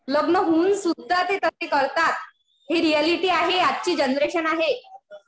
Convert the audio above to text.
लग्न होऊन सुद्धा ते तसे करतात. हि रिऍलिटी आहे. आजची जनरेशन आहे.